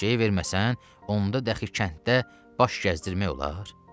Eşşəyi verməsən, onda dəxi kənddə baş gəzdirmək olar?